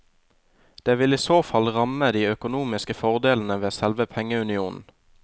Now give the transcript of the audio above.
Det vil i så fall ramme de økonomiske fordelene ved selve pengeunionen.